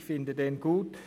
Ich finde ihn gut.